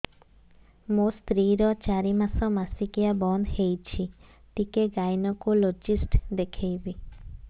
ମୋ ସ୍ତ୍ରୀ ର ଚାରି ମାସ ମାସିକିଆ ବନ୍ଦ ହେଇଛି ଟିକେ ଗାଇନେକୋଲୋଜିଷ୍ଟ ଦେଖେଇବି